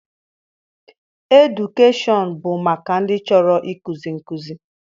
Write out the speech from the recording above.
Edukeshọn bụ maka ndị chọrọ ikuzi nkụzi